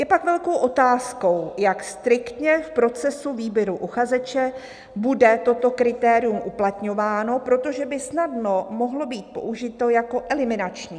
Je pak velkou otázkou, jak striktně v procesu výběru uchazeče bude toto kritérium uplatňováno, protože by snadno mohlo být použito jako eliminační."